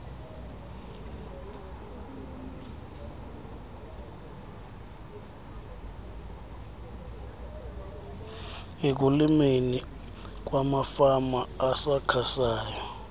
ekulimeni kwamafama asakhasayo